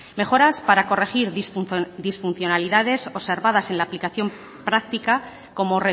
mejoras para corregir disfuncionalidades observadas en la aplicación práctica como